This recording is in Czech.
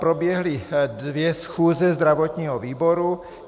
Proběhly dvě schůze zdravotního výboru.